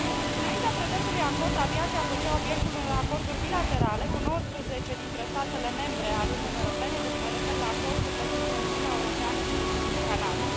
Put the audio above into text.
Înaintea prezentului acord, aviația făcea obiectul unor acorduri bilaterale cu 19 dintre statele membre ale Uniunii Europene deci mă refer la acordurile dintre Uniunea Europeană și Canada.